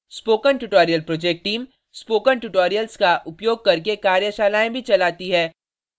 spoken tutorial project team spoken tutorials का उपयोग करके कार्यशालाएँ भी चलाती है